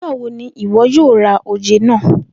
Nigbawo ni iwọ yoo ra oje naa?